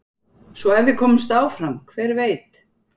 Svo ef við komumst áfram hver veit?